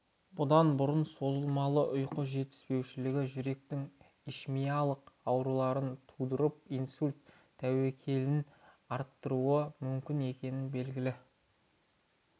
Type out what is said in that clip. бұдан бұрын созылмалы ұйқы жетіспеушілігі жүректің ишемиялық ауруларын тудырып инсульт тәуекелін ға арттыруы мүмкін екені белгілі